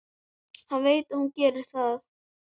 Hann veit að hún gerir það.